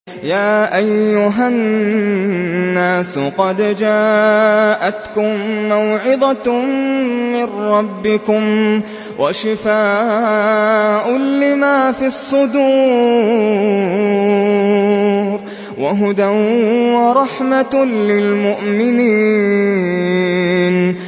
يَا أَيُّهَا النَّاسُ قَدْ جَاءَتْكُم مَّوْعِظَةٌ مِّن رَّبِّكُمْ وَشِفَاءٌ لِّمَا فِي الصُّدُورِ وَهُدًى وَرَحْمَةٌ لِّلْمُؤْمِنِينَ